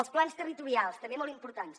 els plans territorials també molt importants